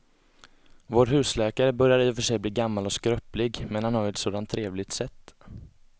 Vår husläkare börjar i och för sig bli gammal och skröplig, men han har ju ett sådant trevligt sätt!